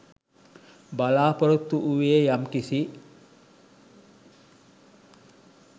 බලාපොරොත්තු වූයේ යම් කිසි